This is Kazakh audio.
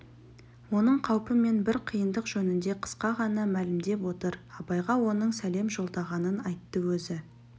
оның қаупі мен бір қиындық жөнінде қысқа ғана мәлімдеп отыр абайға оның сәлем жолдағанын айтты өзі